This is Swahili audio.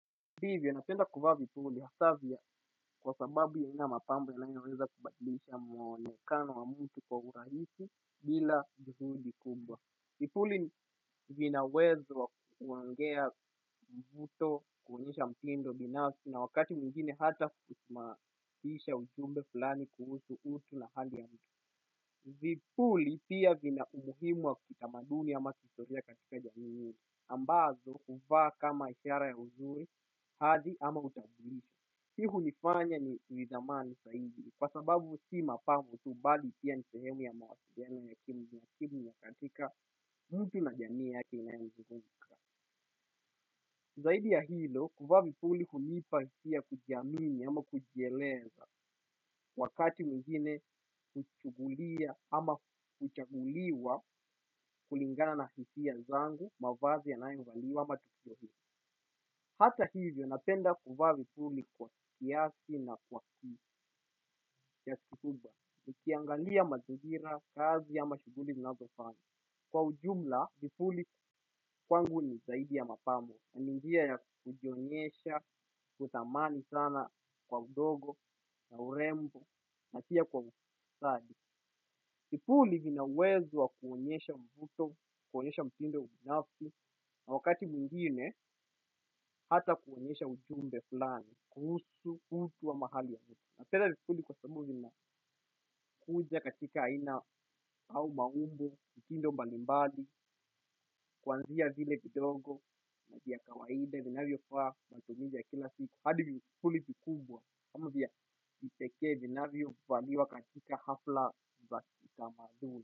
Hivyo napenda kuvaa vipuli hasa vya kwa sababu vina mapambo vyenye kuweza kubadilisha muonekana wa mtu kwa urahisi bila juhudi kubwa. Vipuli vina uwezo wa kuongea mvuto, kuonyesha mtindo binafsi na wakati mwingine hata kusababisha ujumbe flani kuhusu utu na hali halisi. Vipuli pia vina umuhimu wa kiutamaduni ama kihistoria katika jamii hii ambavyo huvaa kama ishara ya uzuri hadi ama utambulisho. Pia hunifanya nitamani zaidi kwa sababu si mapambo tu bali pia ni sehemu ya mawasiliano ya kimnya kimnya katika mtu na jamii yake inayomzunguka. Zaidi ya hilo kuvaa vipuli hunipa hisia kujiamini ama kujieleza wakati mwingine huchukulia ama kuchaguliwa kulingana na hisia zangu mavazi yanayovaliwa ama tukio hilo hata hivyo napenda kuvaa vipuli kwa kiasi na kwa ki kiasi kikubwa. Nikiangalia mazingira, kazi ama shughuli ninazofanya. Kwa ujumla vipuli kwangu ni zaidi ya mapambo. Ni njia ya kujionyesha, kutamani sana kwa udogo na urembo na pia kwa ustadi. Vipuli vinauwezo wa kuonyesha mvuto, kuonyesha mtindo binafsi na wakati mwingine hata kuonyesha ujumbe fulani. Kuhusu utu ama hali ya vitu. Napenda vipuli kwa sababu vinakuja katika aina au maumbo. Mtindo mbalimbali. Kuanzia vile vidogo na vya kawaida. Vinavyofaa matumizi ya kila siku. Hadi vipuli vikubwa ama vya kipekee vinavyovaliwa katika hafla za kitamaduni.